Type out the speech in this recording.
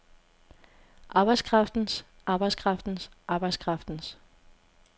arbejdskraftens arbejdskraftens arbejdskraftens